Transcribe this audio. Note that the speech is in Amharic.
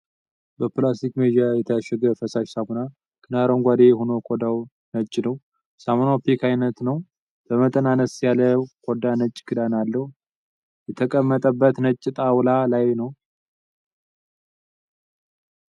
በፕላስቲክ መያዣ የታሸገ ፈሳሽ ሳሙና። ክዳኑ አረንጓዴ ሆኖ ኮዳዉ ነጭ ነዉ። ሳሙናዉ ፒክ አይነት ነዉ። በመጠን አነስ ያለዉ ኮዳ ነጭ ክዳን አለዉ። የተቀመጠበት ነጭ ጣዉላ ላይ ነዉ።